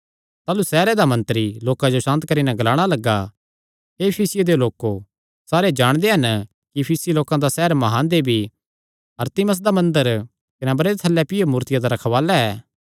ताह़लू सैहरे दा मंत्री लोकां जो सांत करी नैं ग्लाणा लग्गा हे इफिसियां देयो लोको सारे जाणदे हन कि इफिसी लोकां दा सैहर म्हान देवी अरतिमिस दा मंदर कने अम्बरे दे थल्लै पैइयो मूर्तिया दा रखवाल़ा ऐ